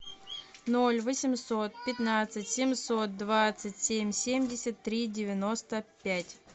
ноль восемьсот пятнадцать семьсот двадцать семь семьдесят три девяносто пять